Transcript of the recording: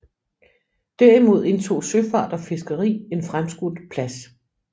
Derimod indtog søfart og fiskeri en fremskudt plads